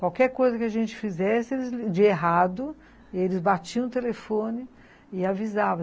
Qualquer coisa que a gente fizesse de errado, eles batiam o telefone e avisavam.